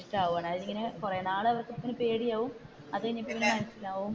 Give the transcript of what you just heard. ഇഷ്ടമാവുകയാണ് കുറെ നാൾ അവർക്ക് തമ്മിൽ പേടിയാകും അത് കഴിഞ്ഞു മനസിലാവും.